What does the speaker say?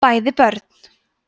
bæði börn